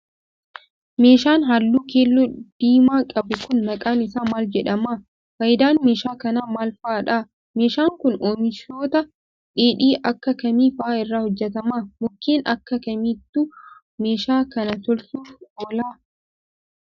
Meeshaan haalluu keelloo diimaa qabu kun ,maqaan isaa maal jedhama? Faayidaan meeshaa kanaa maal faa dha? Meeshaan kun, oomishoota dheedhii akka kamii faa irraa hojjatama? Mukkeen akka kamiitu ,meeshaa kana tolchuuf oola?